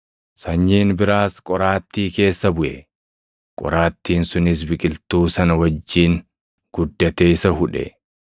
Sanyiin biraas qoraattii keessa buʼe; qoraattiin sunis biqiltuu sana wajjin guddatee isa hudhe.